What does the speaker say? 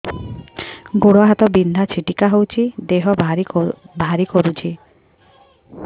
ଗୁଡ଼ ହାତ ବିନ୍ଧା ଛିଟିକା ହଉଚି ଦେହ ଭାରି କରୁଚି